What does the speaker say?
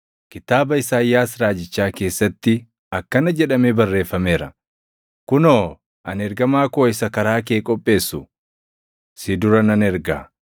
Kitaaba Isaayyaas raajichaa keessatti akkana jedhamee barreeffameera: “Kunoo, ani ergamaa koo isa karaa kee qopheessu, + 1:2 \+xt Mil 3:1\+xt* si dura nan erga;”